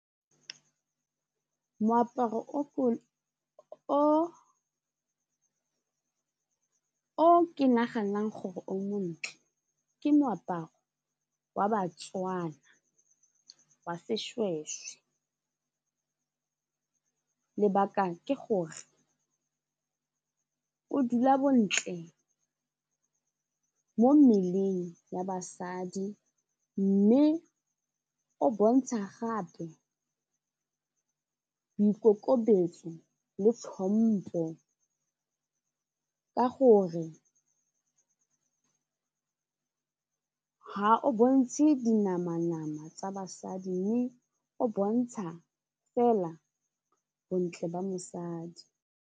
Moaparo o ke naganang gore o montle ke moaparo wa baTswana wa seshweshwe lebaka ke gore o dula bontle mo mmeleng ya basadi mme o bontsha gape boikokobetso le tlhompo ka gore ga o bontshe di namanama tsa basadi mme o bontsha fela bontle ba mosadi.